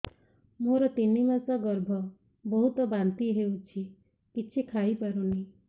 ମୋର ତିନି ମାସ ଗର୍ଭ ବହୁତ ବାନ୍ତି ହେଉଛି କିଛି ଖାଇ ପାରୁନି